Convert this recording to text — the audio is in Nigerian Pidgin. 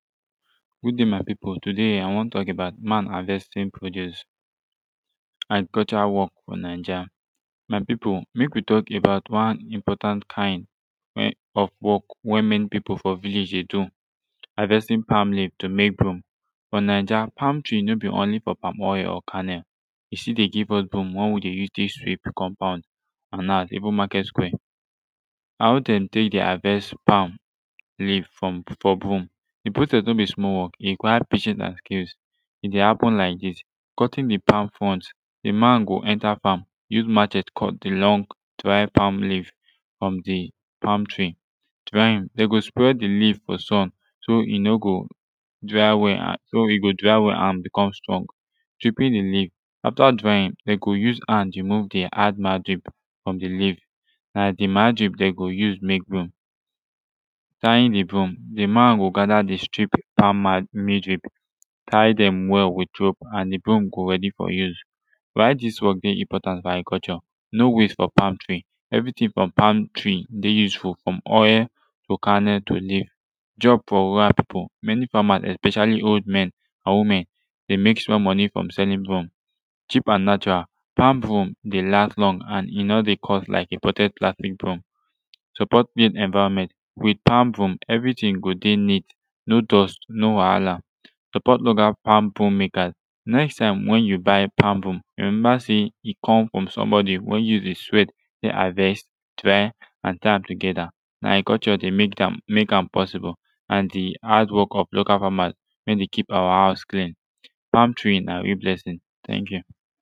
good adi my pipu today i wan tok about man havestin produce agricultural wok fo naija my pipu mek wi tok about one important kind wey of wok wen mani pipu fo village dey do havesting pam leaf to mek broom fo naija palm tree no bi only fo palm oil and palm kernel e stil de give us broom wey wi dey tek sweep de compound an now even maket square how dem tek de havest pam leaf fo broom de process no bi small wok e require patience an cares e dey happen lik dis cutting de pam front de man go enter fam use machete cut de long dry pam tree frum de pam tree drying dem go spread de leaf fo sun so e no go dry well so e go dry well an becum strong tripping de leaf afta drying dem go use han remove de hard margin frum de leaf na de margin dem go use make broom tying de broom de man go gata de strip pam tie dem well wit broom an de broom go ready fo use why dis wok dey important fo agriculture no waste of pam tree evri tin fo pam tree dey useful frum oil to kernel to leaf job fo rural pipu mani famas especially old men or women dey mek small monie frum meking broom cheap an natural pam broom dey last long an e no dey cost like imported trafic broom support clean environment wit pam tree eri tin go dey neat no dust no wahala support local palm broom makers next tim wen yu buy pam broom rememba sey e com frum sombodi wey use e sweat dey havest try an tie am togeta na agriculture dey mek am possible an de hadwok of local famas wen dey kip awa houz klin pam tree na real blessing teink yu